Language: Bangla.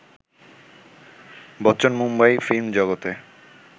বচ্চন মুম্বাই ফিল্ম জগতে